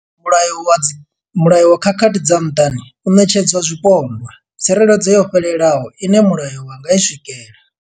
Mulayo wa khakhathi dza muṱani u ṋetshedza zwipondwa tsireledzo yo fhelelaho ine mulayo wa nga i swikela.